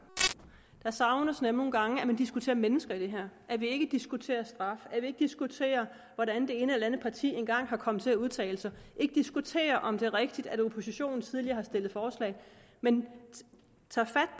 det savnes nogle gange at man diskuterer mennesker i det her at vi ikke diskuterer straf at vi ikke diskuterer hvordan det ene eller det andet parti engang er kommet til at udtale sig ikke diskuterer om det er rigtigt at oppositionen tidligere har stillet forslag men tager fat